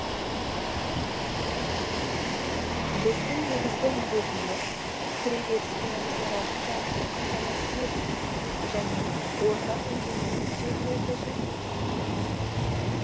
біздің негізгі міндетіміз кіреберіс пен есік алдын жарықпен қамтамасыз ету және ортақ инженерлік желілерді жөндеу